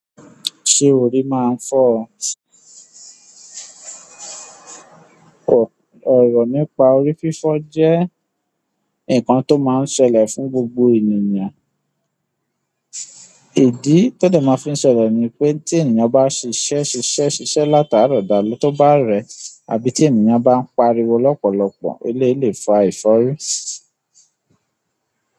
Ṣé orí máa ń fọ́? Òrò nípa orí fífọ́ jẹ́ ǹkan tó máa ń ṣẹlẹ̀ fún gbogbo ènìyàn. Ìdí tó dẹ́ máa ń fi ṣẹlẹ̀ ni pé tí ènìyàn bá ṣiṣẹ́ ṣiṣẹ́ ṣiṣẹ́ látaro dàle tó bá rẹ àbí tí ènìyàn bá ń pariwo lọ́pọ̀lọpọ̀ eléèlé fa ìfọ́rí.